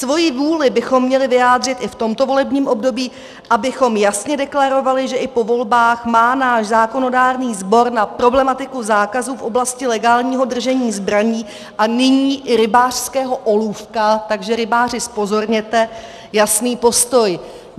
Svoji vůli bychom měli vyjádřit i v tomto volebním období, abychom jasně deklarovali, že i po volbách má náš zákonodárný sbor na problematiku zákazu v oblasti legálního držení zbraní a nyní i rybářského olůvka - takže, rybáři, zpozorněte - jasný postoj.